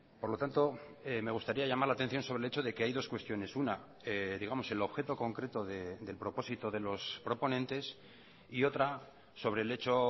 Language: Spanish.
por lo tanto me gustaría llamar la atención sobre el hecho de que hay dos cuestiones una digamos el objeto concreto del propósito de los proponentes y otra sobre el hecho